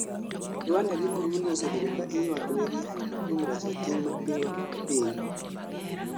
Rwanada gi burudi osebedo kaa iywak negi kuom reso ting' ma pingo piny